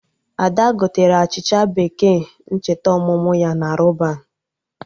Ada gotere achịcha bekee ncheta ọmụmụ ya na Rọban